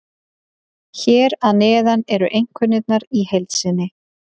Hér að neðan eru einkunnirnar í heild sinni.